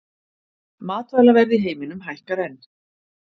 Matvælaverð í heiminum hækkar enn